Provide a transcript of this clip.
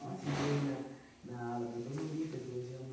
Desfilei na na ala da dona Olímpia, que hoje é uma